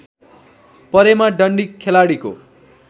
परेमा डन्डी खेलाडीको